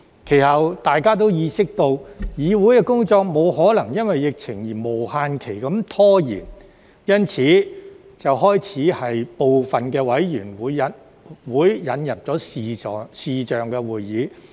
其後，大家都意識到，議會工作沒可能因為疫情而無限期拖延，因此便開始在部分委員會引入視像會議。